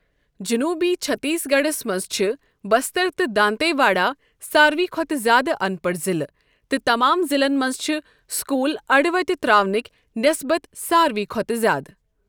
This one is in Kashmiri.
جنوبی چھتیس گڑھس مَنٛز چھِ بستر تہٕ دانتے واڈا ساروٕے کھوتہٕ زیادٕ اَنپَڑھ ضلعہٕ تہٕ تمام ضلعن مَنٛز چھِ سكوُل اڈٕ وتی تراونكۍ نِسبت ساروٕے کھوتہٕ زیادٕ ۔